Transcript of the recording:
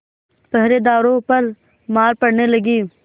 पहरेदारों पर मार पड़ने लगी